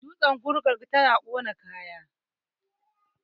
dutsen gugar yana ƙona kaya